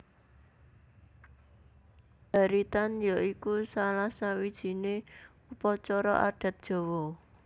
Baritan ya iku salah sawijiné upacara adat Jawa